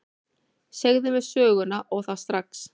Segðu mér söguna, og það strax.